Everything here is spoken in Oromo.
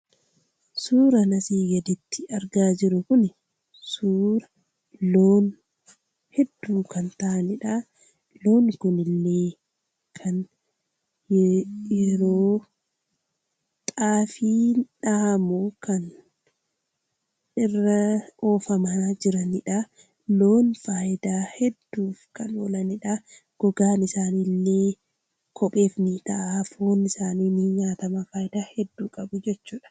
Suuraa asi gaditti argaa jirru kun, suuraa loon hedduu kan ta'aniidha. Loon kunillee yeroo xaafii dha'aa jiran argina. Loon faayidaa hedduuf kan oolaniidha.